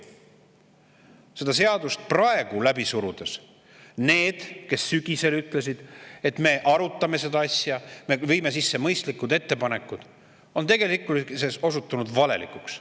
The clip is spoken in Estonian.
Seda seadust praegu läbi surudes on need, kes sügisel ütlesid, et "me arutame seda asja, me viime sisse mõistlikud ettepanekud", tegelikkuses osutunud valelikeks.